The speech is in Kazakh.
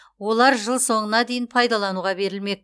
олар жыл соңына дейін пайдалануға берілмек